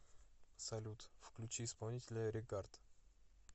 салют включи исполнителя регард